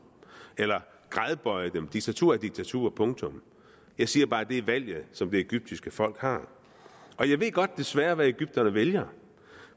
eller gradbøje dem diktatur er diktatur punktum jeg siger bare at det er valget som det egyptiske folk har og jeg ved godt desværre hvad egypterne vælger